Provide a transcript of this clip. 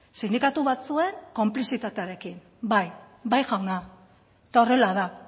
sindikatu batzuen konplizitatearekin bai bai jauna eta horrela da